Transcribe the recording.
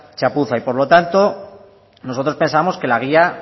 chapuza y por lo tanto nosotros pensamos que la guía